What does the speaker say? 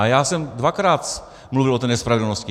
A já jsem dvakrát mluvil o té nespravedlnosti.